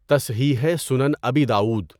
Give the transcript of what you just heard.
تصحیحِ سنن ابی داؤد